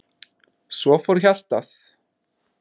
Svo fór hjartað.